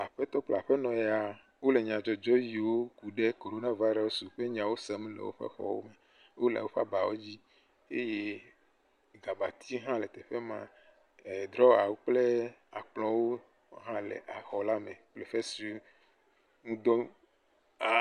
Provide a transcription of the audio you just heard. Aƒetɔ kple aƒe nɔ ya wole nyadzɔdzɔ siwo kuɖe korona virus ƒe nyawo sem le woƒe xɔwo me. Wòle woƒe abawo dzi eye abatia kple amewo hã le teƒe ma, drɔwawɔ kple akplɔwo hã le exɔ la me, teƒe si ŋudɔ aaaaa.